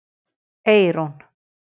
Eyrún